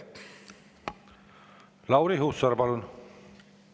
Lauri Hussar, palun!